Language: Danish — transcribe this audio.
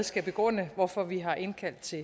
skal begrunde hvorfor vi har indkaldt til